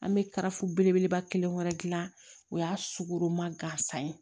An bɛ karafo belebeleba kelen wɛrɛ dilan o y'a sugoroma gansan ye